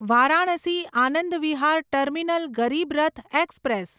Varanasi Anand Vihar terminal Garib Rath express